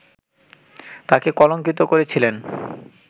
তাঁকে কলঙ্কিত করেছিলেন